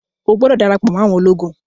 o gbódò darapo mọ àwọn ológun!